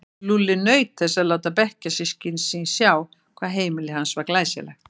Lúlli naut þess að láta bekkjarsystkini sín sjá hvað heimili hans var glæsilegt.